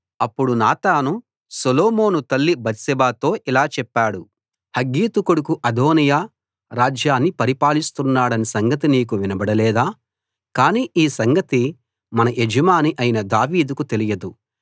అప్పుడు నాతాను సొలొమోను తల్లి బత్షెబతో ఇలా చెప్పాడు హగ్గీతు కొడుకు అదోనీయా రాజ్యాన్ని పరిపాలిస్తున్నాడన్న సంగతి నీకు వినబడలేదా కాని ఈ సంగతి మన యజమాని అయిన దావీదుకు తెలియదు